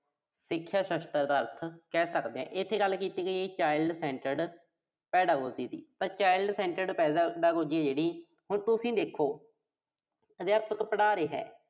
ਸਿੱਖਿਆ ਸ਼ਾਸਤਰ ਦਾ ਅਰਥ ਕਹਿ ਸਕਦੇ ਆਂ। ਇਥੇ ਗੱਲ ਕੀਤੀ ਗਈ ਆ ਜੀ Child-centered pedagogy ਦੀ, ਤਾਂ Child-centered pedagogy ਆ ਜਿਹੜੀ, ਹੁਣ ਤੁਸੀਂ ਦੇਖੋ ਅਧਿਆਪਕ ਪੜ੍ਹਾ ਰਿਹਾ।